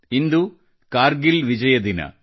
ಇಂದು ಕಾರ್ಗಿಲ್ ವಿಜಯ ದಿನ